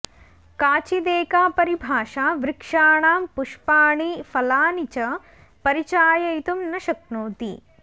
काचिदेका परिभाषा वृक्षाणां पुष्पाणि फलानि च परिचाययितुं न शक्नोति